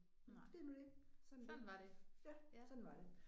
Det er nu det sådan er det. Ja sådan var det